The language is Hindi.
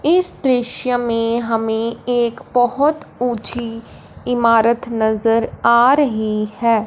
इस दृश्य में हमें एक बहुत ऊंची इमारत नजर आ रही है।